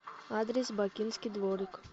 адрес бакинский дворик